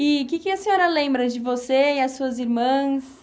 E o que que a senhora lembra de você e as suas irmãs?